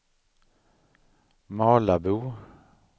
Malabo